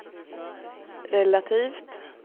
relativt